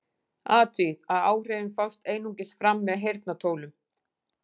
Athugið að áhrifin fást einungis fram með heyrnartólum.